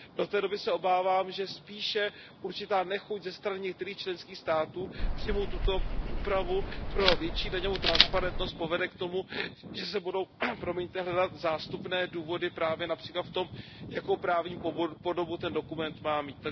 Do té doby se obávám, že spíše určitá nechuť ze strany některých členských států přijmout tuto úpravu pro větší daňovou transparentnost povede k tomu, že se budou hledat zástupné důvody právě například v tom, jakou právní podobu ten dokument má mít.